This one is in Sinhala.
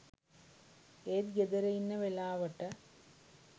ඒත් ගෙදර ඉන්න වෙලාවට